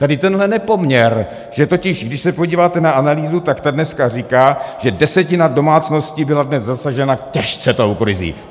Tady tenhle nepoměr, že totiž když se podíváte na analýzu, tak ta dneska říká, že desetina domácností byla dnes zasažena těžce tou krizí.